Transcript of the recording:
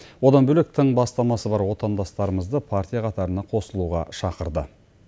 одан бөлек тың бастамасы бар отандастарымызды партия қатарына қосылуға шақырды